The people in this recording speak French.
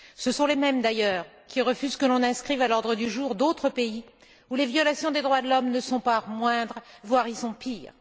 Ce sont les mêmes d'ailleurs qui refusent que l'on inscrive à l'ordre du jour d'autres pays, où les violations des droits de l'homme ne sont pas moindres, voire y sont pires.